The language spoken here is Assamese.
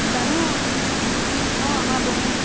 মৈ জানো। হম অ আমাৰ বৈ